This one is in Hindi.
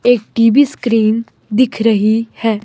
एक टी_वी स्क्रीन दिख रही है।